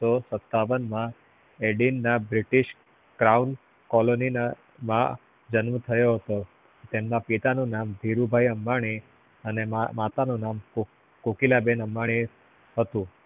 અઠાવન માં edimba british crown colony માં જન્મ થયો હતો. તેમના પિતા નું નામ ધીરુભાઈ અંબાની અને માં માતાનું નામ કોકીલાબેન અંબાની હતું